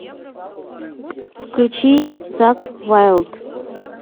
включи закк вайлд